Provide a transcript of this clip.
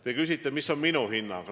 Te küsite, mis on minu hinnang.